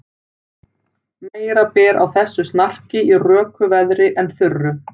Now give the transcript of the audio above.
Meira ber á þessu snarki í röku veðri en þurru.